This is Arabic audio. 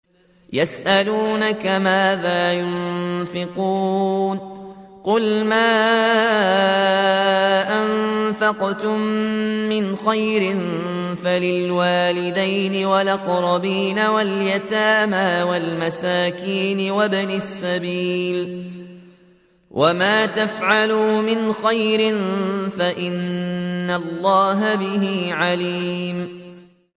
يَسْأَلُونَكَ مَاذَا يُنفِقُونَ ۖ قُلْ مَا أَنفَقْتُم مِّنْ خَيْرٍ فَلِلْوَالِدَيْنِ وَالْأَقْرَبِينَ وَالْيَتَامَىٰ وَالْمَسَاكِينِ وَابْنِ السَّبِيلِ ۗ وَمَا تَفْعَلُوا مِنْ خَيْرٍ فَإِنَّ اللَّهَ بِهِ عَلِيمٌ